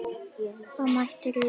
Þá mætti rita